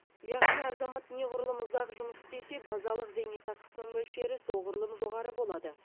яғни азамат неғұрлым ұзақ жұмыс істесе базалық зейнетақысының мөлшері соғұрлым жоғары болады